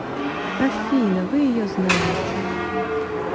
афина вы ее знаете